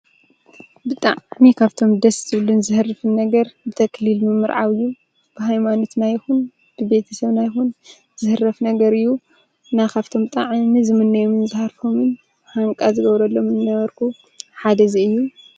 ብጣዕሚ ካብቶም ድስ ዝብልን ዘህርፍን ነገር ብተክሊል ምምርዓው እዩ። ብሃይማኖትና ይኩን ብበተሰብና ይኹን ዝህረፍ ነገር እዩ። እና ካብቶም ብጣዕሚ ዝምነዮምን ዝሃርፎምን ሃንቃ ዝገብረሎምን ዝነበርኩ ሓደ እዚ እዩ።